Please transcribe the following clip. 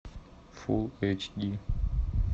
фулл эйч ди